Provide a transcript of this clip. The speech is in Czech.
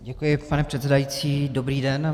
Děkuji, pane předsedající, dobrý den.